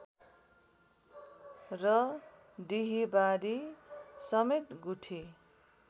र डिहीबारी समेत गुठी